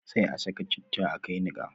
Sai a ka saka citta a kai niqa